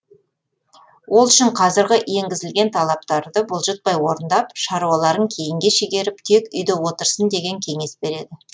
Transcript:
ол үшін қазіргі енгізілген талаптарды бұлжытпай орындап шаруаларын кейінге шегеріп тек үйде отырсын деген кеңес береді